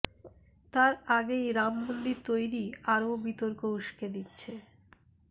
তার আগেই রাম মন্দির তৈরি আরও বিতর্ক উস্কে দিচ্ছে